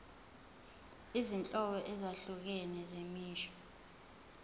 izinhlobo ezahlukene zemisho